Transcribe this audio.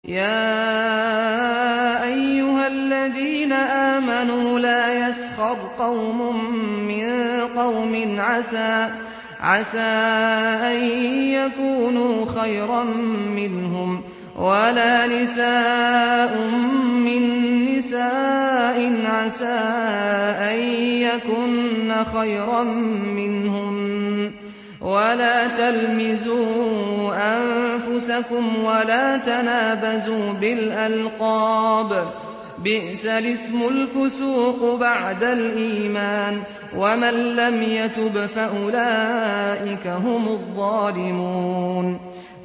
يَا أَيُّهَا الَّذِينَ آمَنُوا لَا يَسْخَرْ قَوْمٌ مِّن قَوْمٍ عَسَىٰ أَن يَكُونُوا خَيْرًا مِّنْهُمْ وَلَا نِسَاءٌ مِّن نِّسَاءٍ عَسَىٰ أَن يَكُنَّ خَيْرًا مِّنْهُنَّ ۖ وَلَا تَلْمِزُوا أَنفُسَكُمْ وَلَا تَنَابَزُوا بِالْأَلْقَابِ ۖ بِئْسَ الِاسْمُ الْفُسُوقُ بَعْدَ الْإِيمَانِ ۚ وَمَن لَّمْ يَتُبْ فَأُولَٰئِكَ هُمُ الظَّالِمُونَ